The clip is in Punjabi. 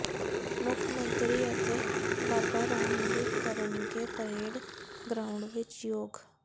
ਮੁੱਖ ਮੰਤਰੀ ਅਤੇ ਬਾਬਾ ਰਾਮਦੇਵ ਕਰਨਗੇ ਪਰੇਡ ਗਰਾਊਂਡ ਵਿੱਚ ਯੋਗ